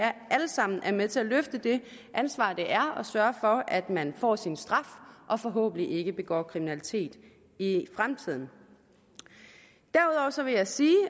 alle sammen er med til at løfte det ansvar det er at sørge for at man får sin straf og forhåbentlig ikke begår kriminalitet i i fremtiden så vil jeg sige